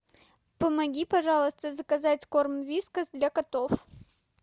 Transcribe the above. помоги пожалуйста заказать корм вискас для котов